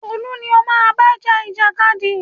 Tolú ni o má bá ja ìjàkadì!